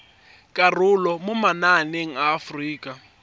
karolo mo mananeng a aforika